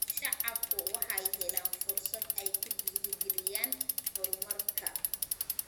Shacabku waxay helaan fursad ay ku dhiirigeliyaan horumarka.